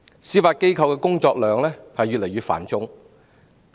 司法機構的工作量越來越繁重。